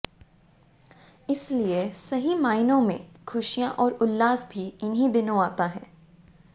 इसलिए सही मायनों में खुशियां और उल्लास भी इन्हीं दिनों आता है